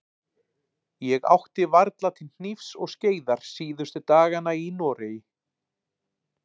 Ég átti varla til hnífs og skeiðar síðustu dagana í Noregi.